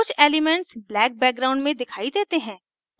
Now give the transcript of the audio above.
कुछ elements black background में दिखाई देते हैं